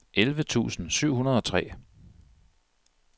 elleve tusind syv hundrede og tre